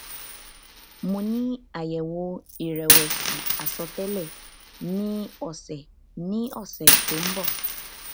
mo ni ayewo irewesi asotele ni ose ni ose to n bo